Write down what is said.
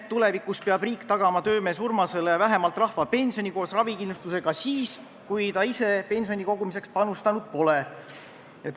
Tulevikus peab riik tagama töömees Urmasele vähemalt rahvapensioni koos ravikindlustusega ka siis, kui ta ise pensioni kogumiseks panustanud pole.